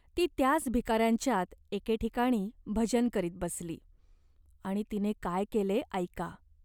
ती त्याच भिकाऱ्यांच्यात एके ठिकाणी भजन करीत बसली. आणि तिने काय केले ऐका.